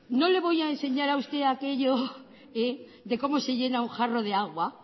no le voy a enseñar a usted aquello de cómo se llena un jarro de agua